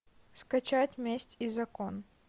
скачать месть и закон